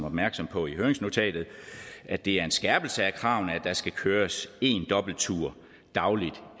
opmærksom på i høringsnotatet at det er en skærpelse af kravene at der skal køres en dobbelt dagligt